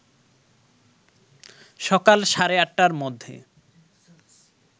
সকাল সাড়ে ৮টার মধ্যে